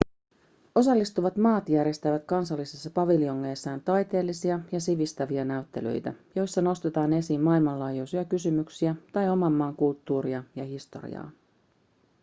osallistuvat maat järjestävät kansallisissa paviljongeissaan taiteellisia ja sivistäviä näyttelyitä joissa ‎nostetaan esiin maailmanlaajuisia kysymyksiä tai oman maan kulttuuria ja historiaa.‎